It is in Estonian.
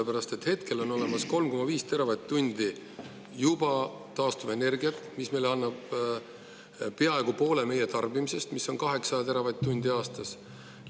Meil on juba olemas 3,5 teravatt-tundi taastuvenergiat, mis annab peaaegu poole meie tarbimisest, mis on 8 teravatt-tundi aastas.